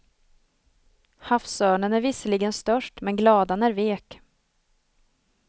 Havsörnen är visserligen störst, men gladan är vek.